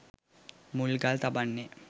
මුල්ගල් තබන්නේ.